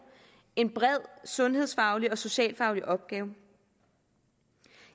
en bred sundhedsfaglig og socialfaglig opgave